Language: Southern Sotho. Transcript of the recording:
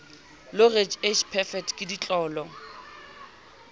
loreal age perfect ke ditlolo